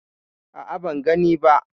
A'a, ban gani ba.